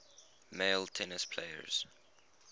male tennis players